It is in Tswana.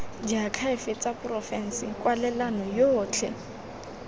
diakhaefe tsa porofense kwalelano yotlhe